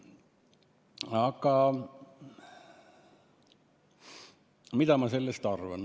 Aga mida ma sellest arvan?